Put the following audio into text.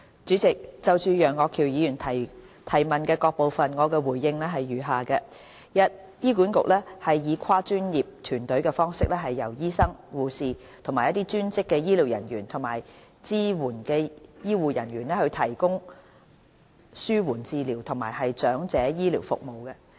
主席，就楊岳橋議員質詢的各部分，我答覆如下：一醫院管理局以跨專業團隊的方式，由醫生、護士、專職醫療人員和支援醫護人員提供紓緩治療及長者醫療服務。